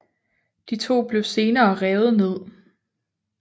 De to blev senere revet ned